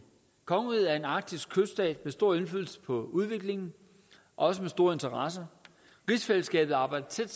kongeriget er en arktisk kyststat med stor indflydelse på udviklingen og også med store interesser rigsfællesskabet arbejder